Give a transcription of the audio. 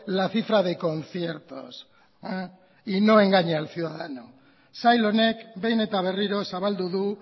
la cifra de conciertos y no engañe al ciudadano sail honek behin eta berriro zabaldu du